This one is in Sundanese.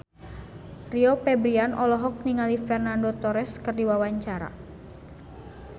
Rio Febrian olohok ningali Fernando Torres keur diwawancara